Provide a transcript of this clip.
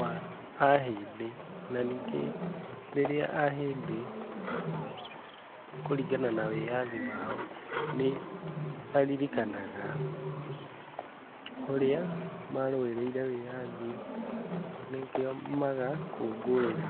wa ahĩndĩ , na rĩngĩ rĩrĩa ahĩndĩ kũringana na wĩathi wao, nĩmaririkanaga ũrĩa marũĩrĩire wĩathi , nĩkĩo magakũngũira.